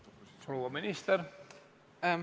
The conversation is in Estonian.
Proua minister!